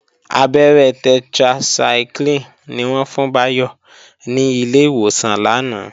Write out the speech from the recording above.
Abẹ́rẹ́ tetracycline ni wọ́n fún Báyọ̀ ní ilé ìwòsàn lánàá